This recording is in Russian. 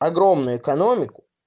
огромной экономику